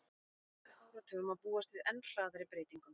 Á næstu áratugum má búast við enn hraðari breytingum.